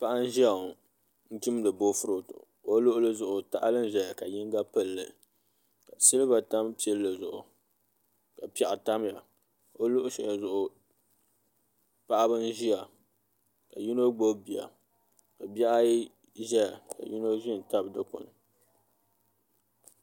Paɣa n ʒiya ŋo n chimdi boofurooto o luɣuli zuɣu tahali n ʒɛya ka yinga pilli silba tam pilli zuɣu ka piɛɣu tamya o luɣu shɛli zuɣu paɣaba n ʒiya ka yino gbubi bia ka bihi ayi ʒɛya ka yino ʒi n tabi dikpuni